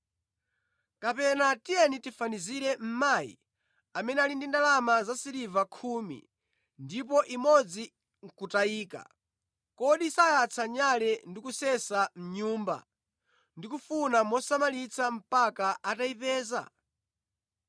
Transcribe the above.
“Kapena tiyeni tifanizire mayi amene anali ndi ndalama zasiliva khumi ndipo imodzi nʼkutayika, kodi sayatsa nyale ndi kusesa mʼnyumba ndi kufuna mosamalitsa mpaka atayipeza?